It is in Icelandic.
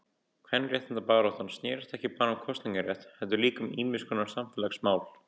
Kvenréttindabaráttan snérist ekki bara um kosningarétt heldur líka um ýmiskonar samfélagsmál.